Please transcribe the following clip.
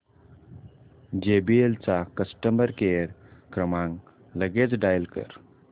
JBL चा customer care क्रमांक लगेच डायल कर